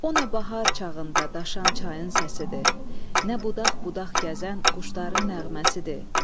O nə bahar çağında daşan çayın səsidir, nə budaq-budaq gəzən quşların nəğməsidir.